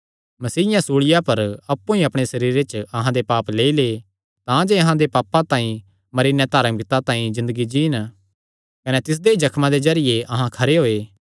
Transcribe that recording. मसीयें सूल़िया पर अप्पु ई अपणे सरीरे च अहां दे पाप लेई लै तांजे अहां पापां तांई मरी नैं धार्मिकता तांई ज़िन्दगी जीन कने तिसदे ई जख्मां दे जरिये अहां खरे होये